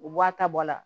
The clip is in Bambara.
U bɔ a ta bɔ la